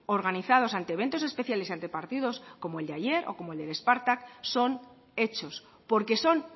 organizados ante eventos especiales y ante partidos como el de ayer o como el de spartak son hechos porque son